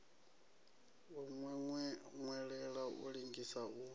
wa nwelela u lengisa u